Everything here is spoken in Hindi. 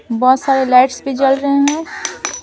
बहुत सारे लाइट्स भी जल रहे हैं।